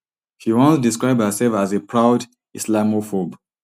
she once describe herself as a proud islamophobe